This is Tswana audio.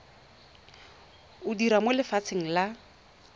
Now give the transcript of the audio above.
o dira mo lefapheng la